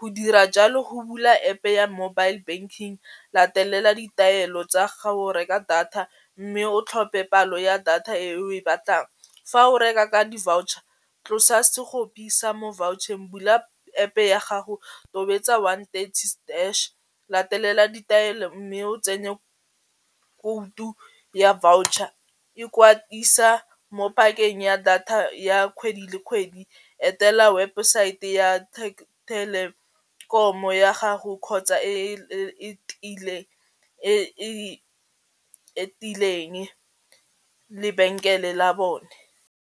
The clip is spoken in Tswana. go dira jalo go bula App-e ya mobile banking latelela ditaelo tsa ga o reka data mme o tlhophe palo ya data e o e batlang. Fa o reka ka di-voucher tlosa mo vaucher-ng, bula App-e ya gago, tobetsa one thirty hash latelela ditaelo mme o tsenye khoutu ya voucher, ikwadisa mo pakeng ya data ya kgwedi le kgwedi etela webesaete ya thelekomo ya gago kgotsa lebenkele la bone.